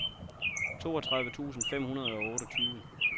toogtredive tusind fem hundrede og otteogtyve